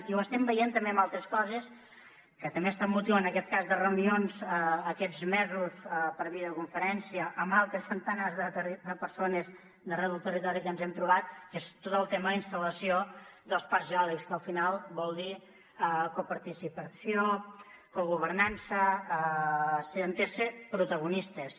i ho estem veient també en altres coses que també són motiu en aquest cas de reunions aquests mesos per videoconferència amb altres centenars de persones d’arreu del territori que ens hem trobat que és tot el tema de la instal·lació dels parcs eòlics que al final vol dir coparticipació cogovernança ser protagonistes